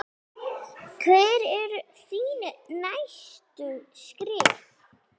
Hver eru þín næstu skref?